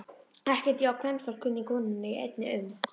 Ekkert ég á kvenfólk kunni, konunni ég einni unni.